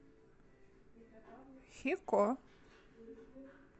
хико